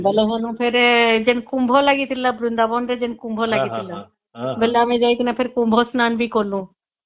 ବୋଲେ ଵେନୁ ଫେର କୁମ୍ଭ ଲାଗିଥିଲା ବୃନ୍ଦାବନ ରେ ଯୋଉ କୁମ୍ଭ ଲାଗିଥିଲା ବୋଲେ ଆମେ ଯାଇକିନା କୁମ୍ଭ ସ୍ନାନ ବି କଲୁ